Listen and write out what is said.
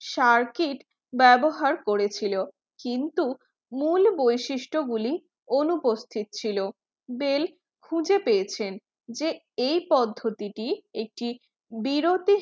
circuit ব্যবহার করেছিল কিন্তু মূল বৈশিষ্ট গুলি অনুপস্থিত ছিল বেল্ খুঁজে পেয়েছেন যে এই পদ্ধতিটি একটি বিরতি